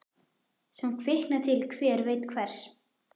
Sem kvikna til hver veit hvers.